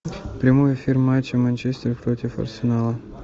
прямой эфир матча манчестер против арсенала